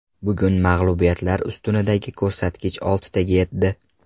Bugun mag‘lubiyatlar ustunidagi ko‘rsatkich oltitaga yetdi.